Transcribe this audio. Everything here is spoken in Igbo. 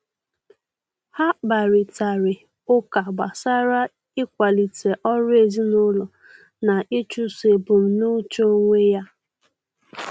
Ha kparịtari ụka gbasara ịkwalite ọrụ ezinụlọ na ịchụso ebumnuche onwe ya.